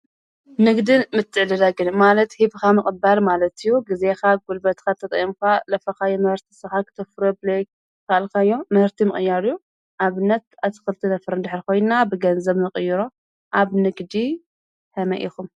ንግድን ምትድለግን ማለት ሂብኻ ምቕባር ማለትእዩ ጊዜኻ ጕልበትካት ተጠአምኳ ለፈኻ የምበርስቲ ሰሓ ኽትፍረ ብልክ ካልካዮም ምህርቲ ምቕያርዩ ኣብ ነት ኣቲ ክልቲ ነፍር ንድኅሪ ኾይንና ብገንዘብ ምቕይሮ ኣብ ንግዲ ሕመይ ኢኹም